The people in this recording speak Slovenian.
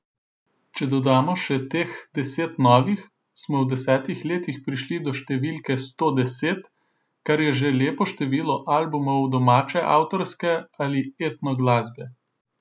Če dodamo še teh deset novih, smo v desetih letih prišli do številke sto deset, kar je že lepo število albumov domače avtorske ali etno glasbe.